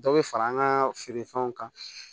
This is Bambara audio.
Dɔ bɛ fara an ka feerefɛnw kan